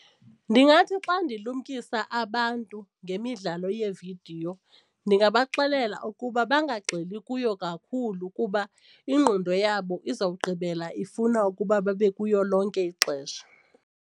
Ndingathi xa ndilumkisa abantu ngemidlalo yeevidiyo ndingabaxelela ukuba bangagxili kuyo kakhulu kuba ingqondo yabo izawugqibela ifuna ukuba babe kuyo lonke ixesha.